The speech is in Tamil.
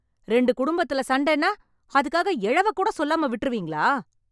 ரெண்டு குடும்பத்துல சண்டென்னா, அதுக்காக எழவக்கூட சொல்லாம விட்டுருவீங்களா?